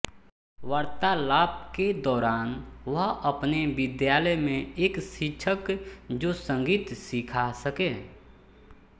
वार्तालाप के दौरान वह अपने विद्यालय में एक शिक्षक जो संगीत सीखा सके